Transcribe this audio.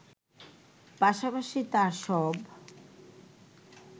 পাশাপাশি তার সব